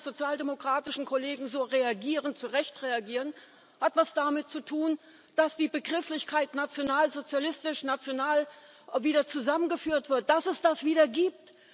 Warum meine sozialdemokratischen Kollegen so reagieren zu Recht reagieren hat etwas damit zu tun, dass die Begrifflichkeit nationalsozialistisch national wieder zusammengeführt wird, dass es das wieder gibt.